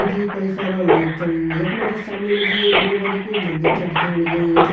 यख मा जी कई सारा लोग छन यखमा जी सामने मा जी एक बड़ु बारिकु मंदिर छ दिखेण लग्युं।